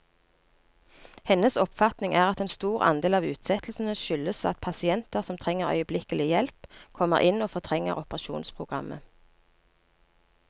Hennes oppfatning er at en stor andel av utsettelsene skyldes at pasienter som trenger øyeblikkelig hjelp, kommer inn og fortrenger operasjonsprogrammet.